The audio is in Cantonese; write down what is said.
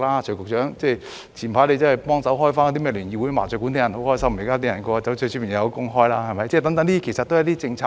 徐局長早前協助重開聯誼會和麻將館，很多人都很開心，因為市民可以有工開，是幫助大家的政策。